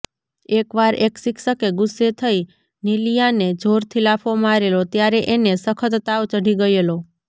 એકવાર એક શિક્ષકે ગુસ્સે થઈ નિલિયાને જોરથી લાફો મારેલો ત્યારે એને સખત તાવ ચઢી ગયેલો